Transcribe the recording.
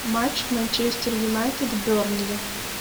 матч манчестер юнайтед бернли